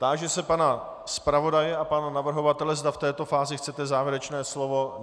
Táži se pana zpravodaje a pana navrhovatele, zda v této fázi chcete závěrečné slovo.